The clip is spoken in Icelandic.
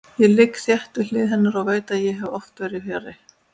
Ég ligg þétt við hlið hennar og veit að ég hef oft verið fjarri.